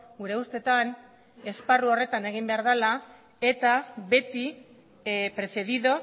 gure ustetan esparru horretan egin behar dela eta beti precedido